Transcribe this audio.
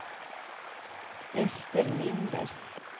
Ester Linder